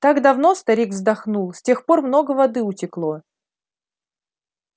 так давно старик вздохнул с тех пор много воды утекло